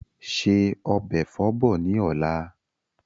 Ṣe ọbẹ̀ Ẹ̀fọ́ bọ̀ ni ọ̀la!